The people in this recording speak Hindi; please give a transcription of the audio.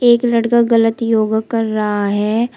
एक लड़का गलत योगा कर रहा है।